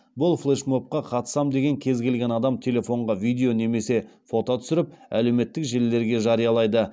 бұл флешмобқа қатысам деген кез келген адам телефонға видео немесе фото түсіріп әлеуметтік желілерге жариялайды